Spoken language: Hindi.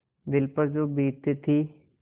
दिल पर जो बीतती थी